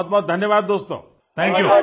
बहुतबहुत धन्यवाद दोस्तों थांक यू